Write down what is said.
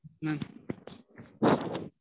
உம்